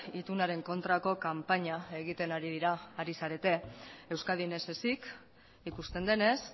itunaren kontrako kanpaina egiten ari dira ari zarete euskadin ez ezik ikusten denez